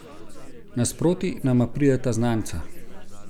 Nasproti nama prideta znanca.